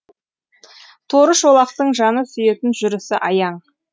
торы шолақтың жаны сүйетін жүрісі аяң